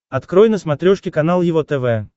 открой на смотрешке канал его тв